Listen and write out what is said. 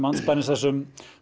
andspænis þessum